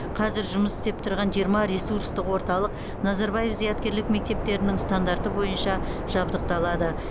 қазір жұмыс істеп тұрған жиырма ресурстық орталық назарбаев зияткерлік мектептерінің стандарты бойынша жабдықталады